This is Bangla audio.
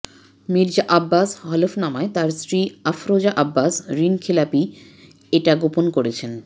মির্জা আব্বাস হলফনামায় তার স্ত্রী আফরোজা আব্বাস ঋণখেলাপী এটা গোপন করেছেন